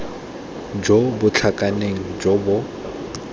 jo bo tlhakaneng jo bo